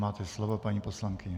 Máte slovo, paní poslankyně.